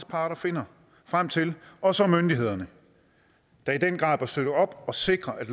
parter finder frem til og så myndighederne der i den grad bør støtte op og sikre at